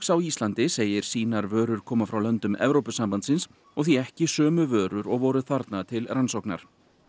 á Íslandi segir sínar vörur koma frá löndum Evrópusambandsins og því ekki sömu vörur og voru þarna til rannsóknar